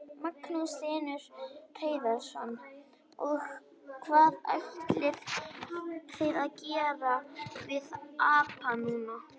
Magnús Hlynur Hreiðarsson: Og hvað ætlið þið að gera við apann núna?